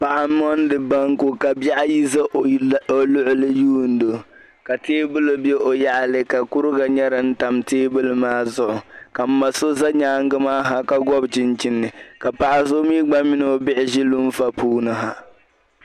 paɣ' mondi banku ka ka bihi ayi za o nuu diirgu lihiro ka tɛɛbuli bɛ o yaɣili ka kuriga nyɛ din tam tɛɛbuli maa zuɣ' ka n ma so ʒɛ nyɛŋa maa ka gubichichini ka paɣ' so mini o gba bihi ʒɛ luuƒa puuni ha